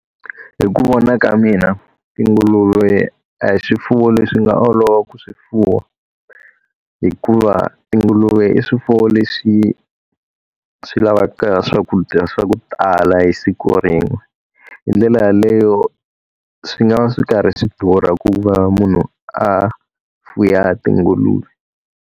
Hi ku vona ka mina tinguluve a hi swifuwo leswi nga olova ku swi fuwa. Hikuva tinguluve i swifuwo leswi swi la lavaka swakudya swa ku tala hi siku rin'we. Hi ndlela yaleyo swi nga va swi karhi swi durha ku va munhu a fuwa tinguluve.